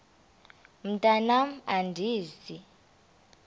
mntwan am andizi